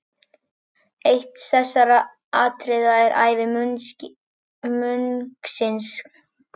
Eitt þessara atriða er ævi munksins.